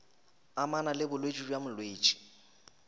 amana le bolwetši bja molwetši